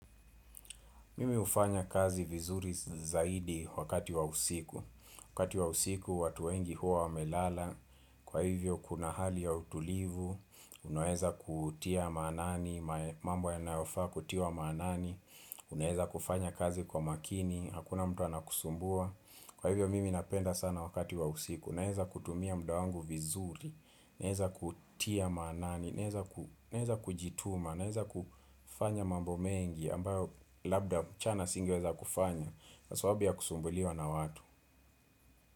Mimi hufanya kazi vizuri zaidi wakati wa usiku. Wakati wa usiku, watu wengi huwa wamelala. Kwa hivyo, kuna hali ya utulivu. Unaeza kutia manani, mambo ya nayofaa kutiwa manani. Unaeza kufanya kazi kwa makini, hakuna mtu anakusumbua. Kwa hivyo, mimi napenda sana wakati wa usiku. Unaeza kutumia muda wangu vizuri. Unaeza kutia manani. Unaeza kujituma. Unaeza kufanya mambo mengi. Ambayo labda mchana singi weza kufanya kwa sababu ya kusumbuliwa na watu.